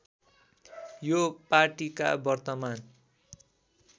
यो पाटीका वर्तमान